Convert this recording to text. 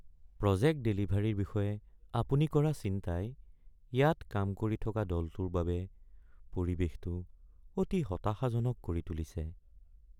Project ডেলিভাৰীৰ বিষয়ে আপুনি কৰা চিন্তাই ইয়াত কাম কৰি থকা দলটোৰ বাবে পৰিৱেশটো অতি হতাশাজনক কৰি তুলিছে।